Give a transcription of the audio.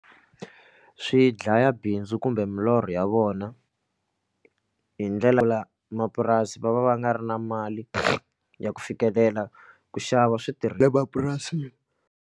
Swi dlaya bindzu kumbe milorho ya vona hi ndlela mapurasi va va va nga ri na mali ya ku fikelela ku xava le mapurasini.